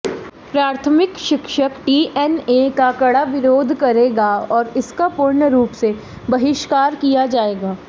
प्राथमिक शिक्षक टीएनए का कड़ा विरोध करेगा और इसका पूर्ण रूप से बहिष्कार किया जाएगा